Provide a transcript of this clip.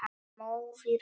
Móðir hans!